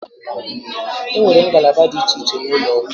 E nwere ngalaba dị iche iche n'ụlọ ọgwụ.